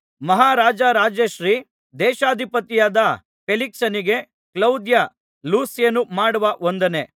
ಮಹಾರಾಜರಾಜಶ್ರೀ ದೇಶಾಧಿಪತಿಯಾದ ಫೇಲಿಕ್ಸನಿಗೆ ಕ್ಲೌದ್ಯ ಲೂಸ್ಯನು ಮಾಡುವ ವಂದನೆ